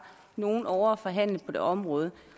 nogle ovre at forhandle på det område